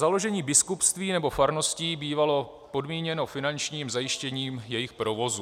Založení biskupství nebo farností bývalo podmíněno finančním zajištěním jejich provozu.